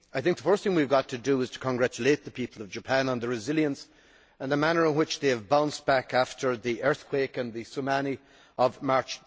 I think the first thing we have got to do is to congratulate the people of Japan on their resilience and the manner in which they have bounced back after the earthquake and the tsunami of March